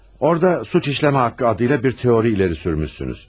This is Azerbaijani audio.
Orada cinayət etmə haqqı adıyla bir teori irəli sürmüsünüz.